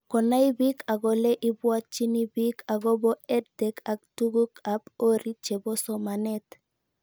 Konai pik ak ole ipwatchini piik akopo EdTech ak tug'uk ab orit chepo somanet